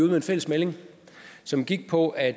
med en fælles melding som gik på at